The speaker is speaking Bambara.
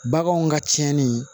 Baganw ka tiɲɛni